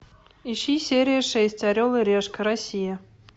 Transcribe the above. ищи серию шесть орел и решка россия